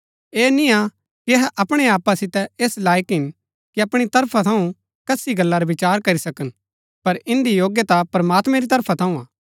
ऐह निय्आ कि अहै अपणै आपा सितै ऐस लायक हिन कि अपणी तरफा थऊँ कसी गल्ला रा विचार करी सकन पर इन्दी योग्यता प्रमात्मैं री तरफा थऊँ हा